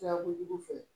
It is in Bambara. Sira kojugu fɛ